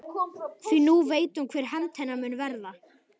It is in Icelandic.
Því nú veit hún hver hefnd hennar mun verða.